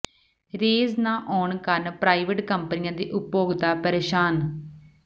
range ਨਾ ਆਉਣ ਕਾਰਨ ਪ੍ਰਾਈਵੇਟ ਕੰਪਨੀਆਂ ਦੇ ਉਪਭੋਗਤਾ ਪ੍ਰੇਸ਼ਾਨ